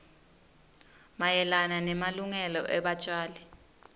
mayelana nemalungelo ebatjali